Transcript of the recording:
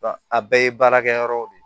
a bɛɛ ye baarakɛ yɔrɔw de ye